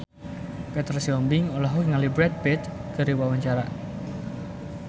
Petra Sihombing olohok ningali Brad Pitt keur diwawancara